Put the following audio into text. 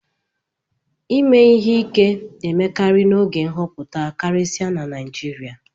Ime ihe ike na-emekarị n'oge nhọpụta karịsịa na Naijiria